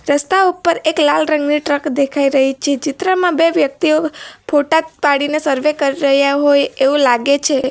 રસ્તા ઉપર એક લાલ રંગની ટ્રક દેખાઈ રહી છે ચિત્રમાં બે વ્યક્તિઓ ફોટા જ પાડીને સર્વે કરી રહ્યા હોય એવું લાગે છે.